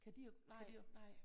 Kan de og kan de